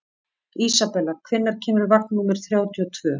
Isabella, hvenær kemur vagn númer þrjátíu og tvö?